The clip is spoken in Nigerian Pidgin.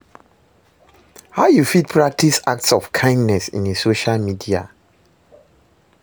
How you fit practice acts of kindness in a social media?